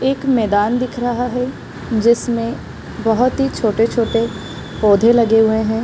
एक मैदान दिख रहा है जिसमे बहुत ही छोटे छोटे पौधे लगे हुए हैं ।